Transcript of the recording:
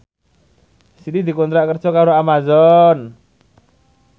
Siti dikontrak kerja karo Amazon